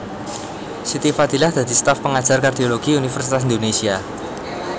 Siti Fadilah dadi staf pengajar kardiologi Universitas Indonésia